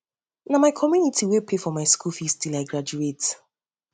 na my community wey pay for my school fees till i graduate